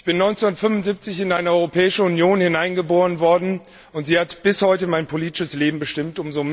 Ich bin 1975 in eine Europäische Union hineingeboren worden, und sie hat bis heute mein politisches Leben bestimmt.